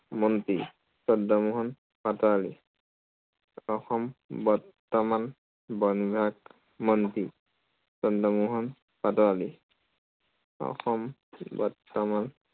মন্ত্ৰী চন্দ্ৰমোহন পাটোৱাৰী। অসম বৰ্তমান বন বিভাগ মন্ত্ৰী, চন্দ্ৰমোহন পাটোৱাৰী। অসম বৰ্তমান